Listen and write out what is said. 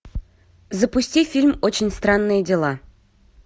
запусти фильм очень странные дела